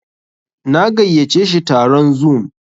Na gayyace shi taron zoom.